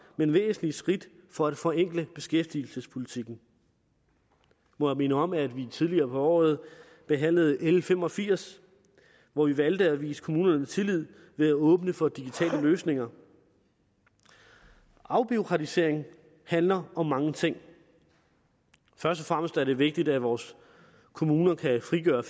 men væsentlige skridt for at forenkle beskæftigelsespolitikken må jeg minde om at vi tidligere på året behandlede l fem og firs hvor vi valgte at vise kommunerne tillid ved at åbne for digitale løsninger afbureaukratisering handler om mange ting først og fremmest er det vigtigt at vores kommuner kan frigøre